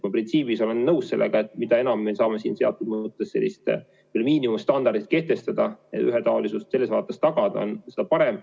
Ma printsiibis olen nõus sellega, et mida enam me saame teatud miinimumstandardid kehtestada, ühetaolisust selles vaates tagada, seda parem.